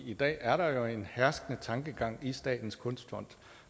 i dag er der jo en herskende tankegang i statens kunstfond